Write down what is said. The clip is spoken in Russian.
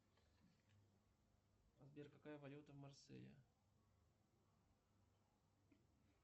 сбер какая валюта в марселе